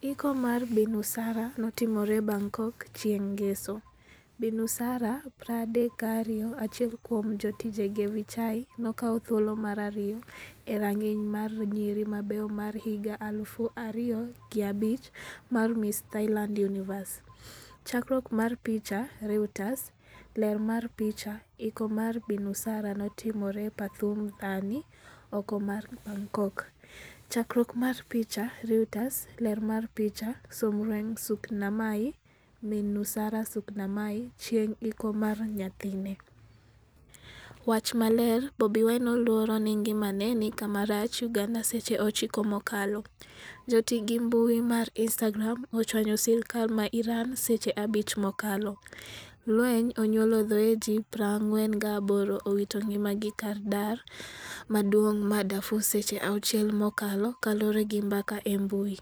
Iko mar Bi Nusara notimore Bangkok chieng' ngeso. Bi Nusara 32 achiel kuom jotijege Vichai nokawo thuolo mar ariyo e rang'iny mar nyiri mabeyo mar higa 2005 mar Miss Thailand Universe. Chakruok mar picha, Reuters. Ler mar picha, Iko mar Bi Nusara notimore Pathum Thani oko mar Bangkok. Chakruok mar picha, Reuters. Ler mar picha, Somrueng Suknamai, min Nusara Suknamai, chieng' iko mar nyathine. Wach maler Bobi Wine oluoro ni ngimane ni kama rach' Uganda Seche 9 mokalo. Joti gi mbui mar Instagram ochwanyo sirkal ma Iran seche 5 mokalo. Lweny onyuolo thoe ji 48 owito ngima gi kar dak maduong' ma Darfur Seche 6 mokalo kaluore gi mbaka e mbui.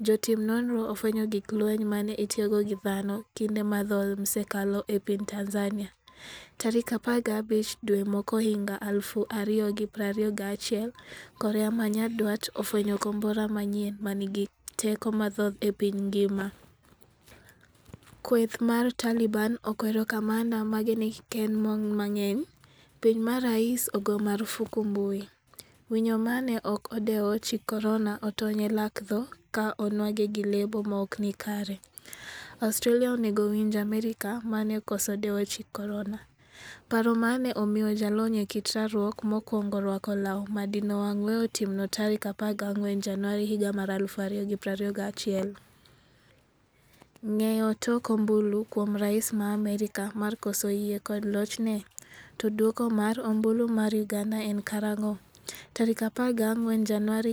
Jotim nonro ofwenyo gig lweny mane itiyogo gi dhano kinde mathoth msekalo e piny Tanzania. Tarik 15 dwe mokwongohiga 2021 korea manyandwat ofwenyo kombora manyien manigi teko mathoth e piny ngima. Kweth mar Taliban okwero kamanda mage ni kikkend mon mang'eny. piny ma rais ogo marufuku mbui. Winyo mane ok odewo chik korona otony e lak tho ka onwang'e gi lebo maokni kare. Australia onego winj Amerka mane okoso dewo chik korona. paro mane omiyo jalony e kit rwakruok mokwongo rwako law madino wang' weyo timno tarik 14 januari 2021. Ng'eyo tok ombulu kuom rais ma Amerka mar koso yie kod lochne? To duoko mar ombulu mar uganda en karang'o?14 Januari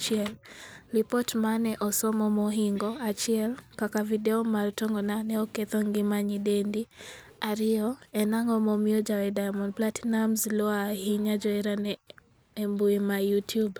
2021Lipot mane osom mohingo 1 kaka video mar tongona ne oketho ngima nyidendi 2. en ang'o momiyo jawer Diamond Platinumz luo ahinya joherane embui ma Youtube?